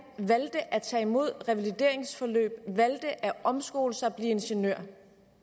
valgte at tage imod et revalideringsforløb valgte at omskole sig og blive ingeniør